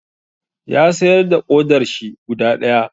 Ya sayar da ƙodarshi guda ɗaya.